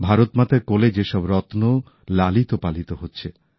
ভারত মাতার কোলে কেমন সব রত্ন লালিত পালিত হচ্ছে